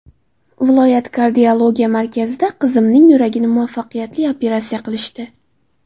Viloyat kardiologiya markazida qizimning yuragini muvaffaqqiyatli operatsiya qilishdi.